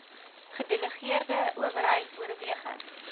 gedelegeerde owerheid oorweging